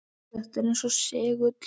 Þetta er eins og segull.